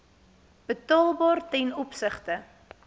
betaalbaar ten opsigte